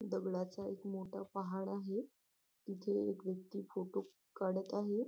दगडाचा एक मोठा पहाड आहे तिथे व्यक्ती फोटो काढत आहे.